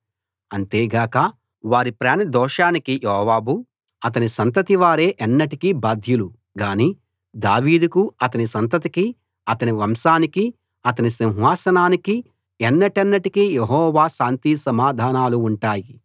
అంతే గాక వారి ప్రాణ దోషానికి యోవాబు అతని సంతతివారే ఎన్నటికీ బాధ్యులు గానీ దావీదుకు అతని సంతతికి అతని వంశానికి అతని సింహాసనానికి ఎన్నటెన్నటికీ యెహోవా శాంతి సమాధానాలు ఉంటాయి